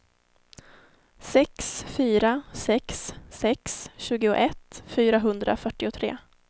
sex fyra sex sex tjugoett fyrahundrafyrtiotre